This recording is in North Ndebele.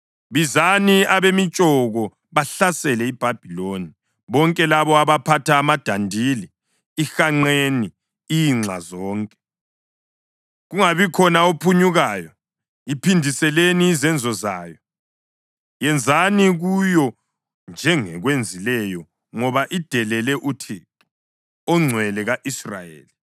Bizani abemitshoko bahlasele iBhabhiloni, bonke labo abaphatha amadandili. Ihanqeni inxa zonke; kungabikhona ophunyukayo. Iphindiseleni izenzo zayo; yenzani kuyo njengekwenzileyo. Ngoba idelele uThixo, oNgcwele ka-Israyeli.